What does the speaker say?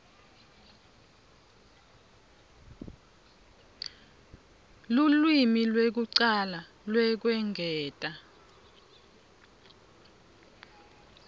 lulwimi lwekucala lwekwengeta